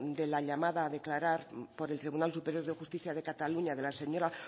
de la llamada a declarar por el tribunal superior de justicia de cataluña de la señora